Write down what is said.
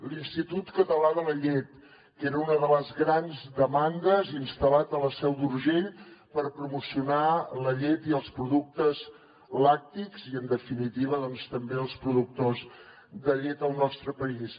l’institut català de la llet que era una de les grans demandes instal·lat a la seu d’urgell per promocionar la llet i els productes làctics i en definitiva també els productors de llet del nostre país